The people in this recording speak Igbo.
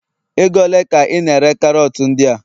ego ole ka I na-ere karot ndia?